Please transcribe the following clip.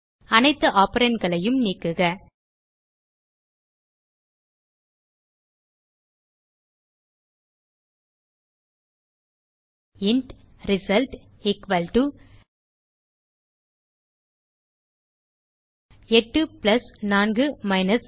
அனைத்து operandகளையும் நீக்குக இன்ட் result 84 2